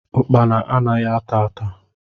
Ukpana anaghị ata ata